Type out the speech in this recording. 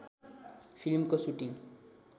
फिल्मको सुटिङ